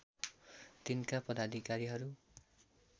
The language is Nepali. तिनका पदाधिकारीहरु